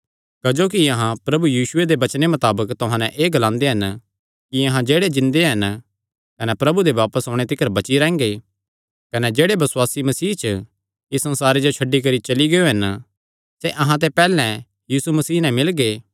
क्जोकि अहां प्रभु यीशुये दे वचने मताबक तुहां नैं एह़ ग्लांदे हन कि अहां जेह्ड़े जिन्दे हन कने प्रभु दे बापस ओणे तिकर बची रैंह्गे कने जेह्ड़े बसुआसी मसीह च इस संसारे जो छड्डी करी चली गियो हन सैह़ अहां ते पैहल्लैं यीशु मसीह नैं मिलगे